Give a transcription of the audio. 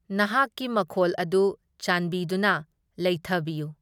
ꯅꯍꯥꯛꯀꯤ ꯃꯈꯣꯜ ꯑꯗꯨ ꯆꯥꯟꯕꯤꯗꯨꯅ ꯂꯩꯊꯕꯤꯌꯨ꯫